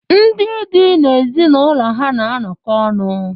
Ndị di na ezinụlọ ha na-anọkọ ọnụ.